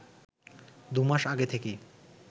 দু’মাস আগে থেকেই